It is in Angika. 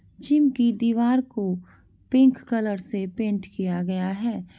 जिम की दीवार को पिंक कलर से पेंट किया गया है।